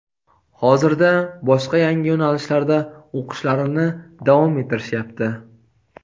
Hozirda boshqa yangi yo‘nalishlarda o‘qishlarini davom ettirishyapti.